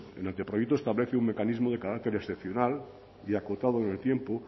el anteproyecto establece un mecanismo de carácter excepcional y acotado en el tiempo